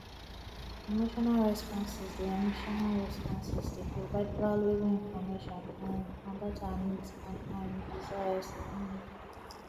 emotional responses dey emotional responses dey provide valuable information um about our needs and um desires um